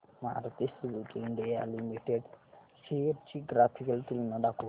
Maruti Suzuki India limited shares ची graphical तुलना दाखव